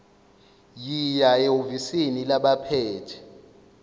yiya ehhovisi labaphethe